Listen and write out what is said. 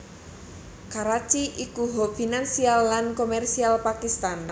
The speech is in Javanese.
Karachi ikuhub finansial lan komersial Pakistan